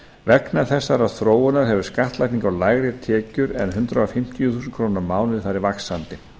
vegna þessarar þróunar hefur skattlagning á lægri tekjur en hundrað fimmtíu þúsund krónur á mánuði farið vaxandi